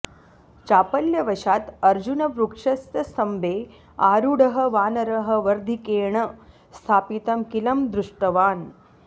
चापल्यवशात् अर्जुनवृक्षस्य स्तम्भे आरूढः वानरः वर्धिकेण स्थापितं कीलं दृष्टवान्